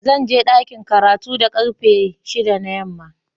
Zan je dakin karatu da karfe shida na yamma.